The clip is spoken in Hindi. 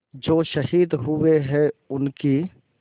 जो शहीद हुए हैं उनकी